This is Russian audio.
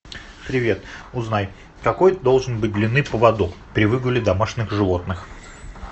привет узнай какой должен быть длины поводок при выгуле домашних животных